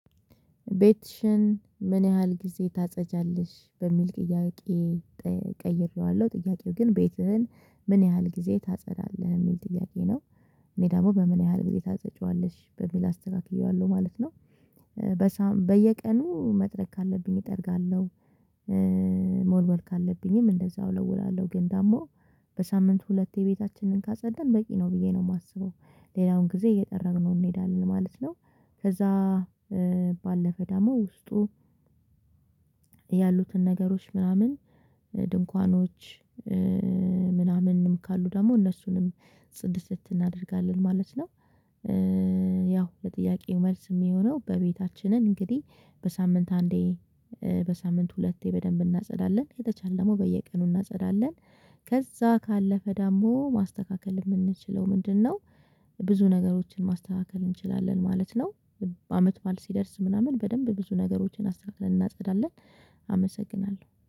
ቤትሽን ምን ያህል ጊዜ ታጸጃለሽ? በሚል ጥያቄ ቀይሬዋለሁ ጥያቄው ግን ቤትህን ምን ያህል ጊዜ ታጸዳለህ? የሚል ጥያቄ ነው እኔ ደግሞ በምን ያህል ጊዜ ታጸጂዋለሽ በሚል አስተካክዬዋለሁ ማለት ነው። በየቀኑ መጥረግ ካለብኝ እጠርጋለሁ። ካለብኝም እንደዛው እለውላለሁ ግን ደግሞ በሳምንቱ ሁለቴ ቤታችንን ካጸዳን በቂ ነው ብዬ ነው የማስበው ሌላውን ጊዜ እየጠረግ ነው እንሄዳለን ማለት ነው ከዛ ባለፈ ደግሞ ውስጡ ያሉትን ነገሮች ምናምን ድንኳኖች ምናምንም ካሉ ደግሞ እነሱንም ፅድትድት እትናደርጋለን ማለት ነው። ያው ለጥያቄው መልስ የሚሆነው በቤታችንን እንግዲህ በሳምንት አንዴ፣ በሳምንት ሁለቴ በደንብ እናጸዳለን። ከተቻለ በየቀኑ እናጸዳለን። ከዛ ካለፈ ደግሞ ማስተካከል የምንችለው ምንድነው። ብዙ ነገሮችን ማስተካከል እንችላለን ማለት ነው። አመት በዓል ሲደርስ ምናምን በደንብ ብዙ ነገሮችን አስተካክለን እናጸዳለን አመሰግናለሁ።